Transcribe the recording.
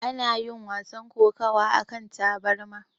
Ana yin wasan kokawa akan tabarma.